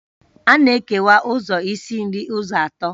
A na-ekewa ụzọ isi nri ụzọ atọ